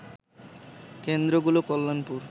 কেন্দ্র গুলো কল্যাণপুর